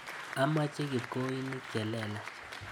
Amache kipkoinik chelelach.